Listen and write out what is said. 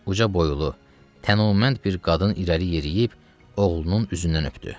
Ucaboylu, tənomənd bir qadın irəli yeriyib oğlunun üzündən öpdü.